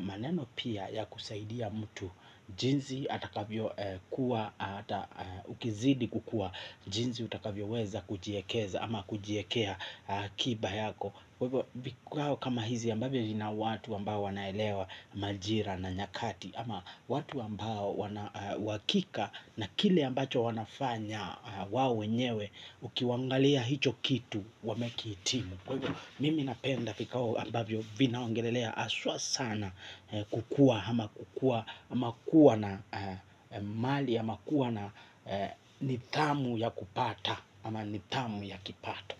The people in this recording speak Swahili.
maneno pia ya kusaidia mtu jinsi atakavyo kuwa ata ukizidi kukua jinsi utakavyoweza kujiekeza ama kujiekea akiba yako kwa hivyo kama hizi ambavyo vina watu ambavyo wanaelewa majira na nyakati ama watu ambao wakika na kile ambacho wanafanya wa wenyewe ukiangalia hicho kitu wamekihitimu kwa hivyo mimi napenda vikao ambavyo vinaongelelea aswa sana kukua ama kukua ama kuwa na mali ama kuwa na nidhamu ya kupata ama nidhamu ya kipato.